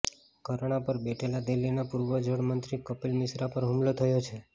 ધરણાં પર બેઠેલા દિલ્હી ના પૂર્વ જળ મંત્રી કપિલ મિશ્રા પર હુમલો થયો છે